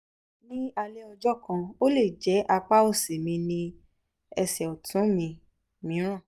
ní alẹ́ ọjọ́ kan ó lè jẹ́ apá òsì mi ní ẹsẹ̀ ọ̀tún mi mìíràn